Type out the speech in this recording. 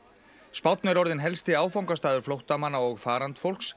spánn er orðinn helsti áfangastaður flóttamanna og